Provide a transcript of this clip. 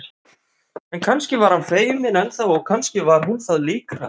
En kannski var hann feiminn enn þá og kannski var hún það líka.